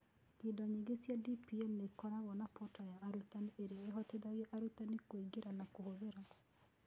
Indo nyingĩ cia DPL nĩ ikoragwo na portal ya arutani ĩrĩa ĩhotithagia arutani kũingĩra na kũhũthĩra.